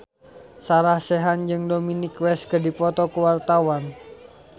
Sarah Sechan jeung Dominic West keur dipoto ku wartawan